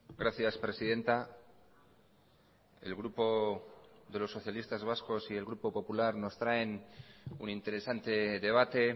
gracias presidenta el grupo de los socialistas vascos y el grupo popular nos traen un interesante debate